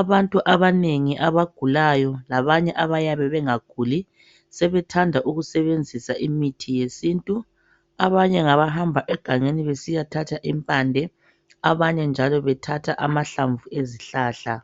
abantu abanengi abagulayo labanye abayabe bengaguli sebethanda ukusebenzisa imithi yesintu abanye ngabahamba egangeni besiyagebha impande abanye bayebe bayathatha amahlamvu awezihlahla